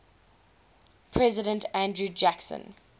president andrew jackson